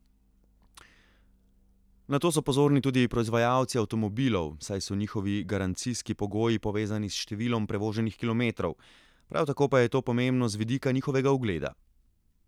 Na to so pozorni tudi proizvajalci avtomobilov, saj so njihovi garancijski pogoji povezani s številom prevoženih kilometrov, prav tako pa je to pomembno z vidika njihovega ugleda.